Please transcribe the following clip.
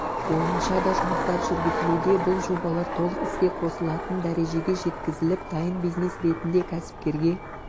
бойынша да жұмыстар жүргізілуде бұл жобалар толық іске қосылатын дәрежеге жеткізіліп дайын бизнес ретінде кәсіпкерге